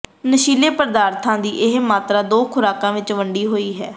ਨਸ਼ੀਲੇ ਪਦਾਰਥਾਂ ਦੀ ਇਹ ਮਾਤਰਾ ਦੋ ਖੁਰਾਕਾਂ ਵਿਚ ਵੰਡੀ ਹੋਈ ਹੈ